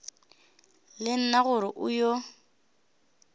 le nna gore o yo